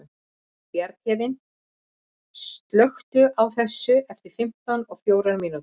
Bjarnhéðinn, slökktu á þessu eftir fimmtíu og fjórar mínútur.